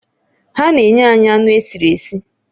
Ha na-enye anyị anụ esiri esi